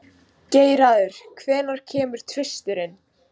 Geirarður, hvenær kemur tvisturinn?